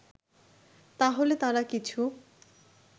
তাহলে তারা কিছু